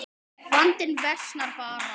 Vandinn versnar bara.